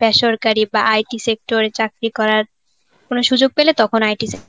বেসরকারি বা IT sector চাকরী করার. কোন সুযোগ পেলে তখন IT sector